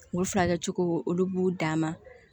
U furakɛcogo olu b'u dan ma